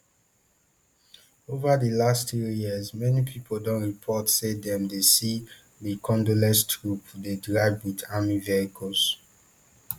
ova di last three years many pipo don report say dem dey see di congolese troops dey drive wit army vehicles